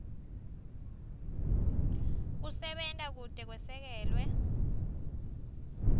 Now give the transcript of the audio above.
kusebenta kute kwesekelwe